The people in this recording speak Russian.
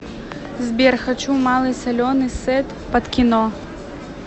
сбер хочу малый соленый сет под кино